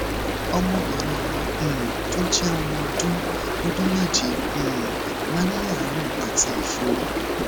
ọmọbìnrin mi um tó jẹ ọmọ ọdún ọdún méje um máa ń ní àárẹ àti ẹfọrí